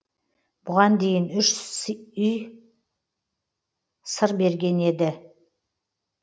бұған дейін үш үй сыр берген еді